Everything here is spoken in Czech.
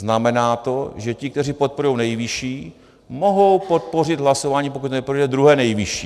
Znamená to, že ti, kteří podporují nejvyšší, mohou podpořit hlasováním, pokud neprojde, druhé nejvyšší.